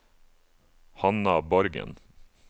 Hanna Borgen